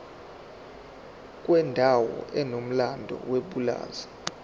kwendawo enomlando yepulazi